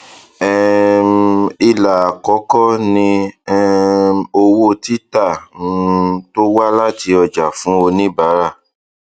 um ilà àkọkọ ni um owó títà um tó wá láti ọjà fún oníbárà